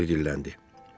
Kiber dilləndi.